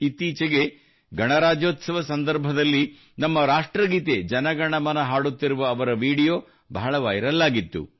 ಇತ್ತೀಚೆಗೆ ಗಣರಾಜ್ಯೋತ್ಸವ ಸಂದರ್ಭದಲ್ಲಿ ನಮ್ಮ ರಾಷ್ಟ್ರಗೀತೆ ಜನ ಗಣ ಮನ ಹಾಡುತ್ತಿರುವ ಅವರ ವಿಡಿಯೋ ಬಹಳ ವೈರಲ್ ಆಗಿತ್ತು